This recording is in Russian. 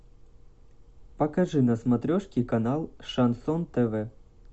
покажи на смотрешке канал шансон тв